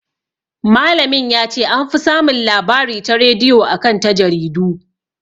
Malamin ya ce "an fi samun labari ta rediyo a kan ta jaridu".